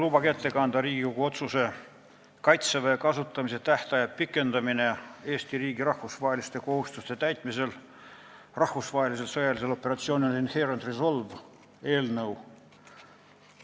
Lubage ette kanda Riigikogu otsuse "Kaitseväe kasutamise tähtaja pikendamine Eesti riigi rahvusvaheliste kohustuste täitmisel rahvusvahelisel sõjalisel operatsioonil Inherent Resolve" eelnõu.